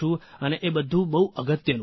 અને એ બધું બહુ અગત્યનું છે